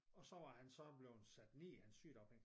Og så var han så blevet sat ned i hans sygedagpenge